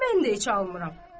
mən də heç almıram.